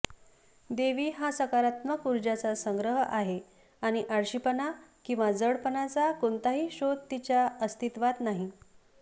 देवी हा सकारात्मक ऊर्जाचा संग्रह आहे आणि आळशीपणा किंवा जडपणाचा कोणताही शोध तिच्या अस्तित्वात नाही